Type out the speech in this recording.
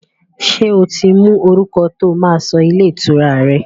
Ṣé o ti mọ orúkọ tó máa sọ ilé ìtura rẹ?